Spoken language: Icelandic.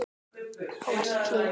Ávallt hlý.